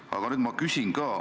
Aga nüüd ma küsin ka.